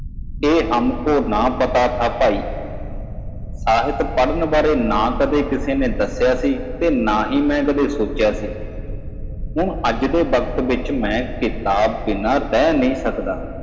ਸਾਨੂੰ ਇਹ ਨਹੀਂ ਪਤਾ ਸੀ ਭਰਾ ਮੈਨੂੰ ਕਦੇ ਕਿਸੇ ਨੇ ਸਾਹਿਤ ਪੜ੍ਹਨ ਬਾਰੇ ਨਹੀਂ ਦੱਸਿਆ ਨਾ ਹੀ ਮੈਂ ਕਦੇ ਸੋਚਿਆ ਸੀ ਅੱਜ ਕੱਲ੍ਹ ਮੈਂ ਕਿਤਾਬ ਤੋਂ ਬਿਨਾਂ ਨਹੀਂ ਰਹਿ ਸਕਦਾ